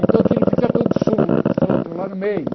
Então aquilo fica tudo sul solto lá no meio.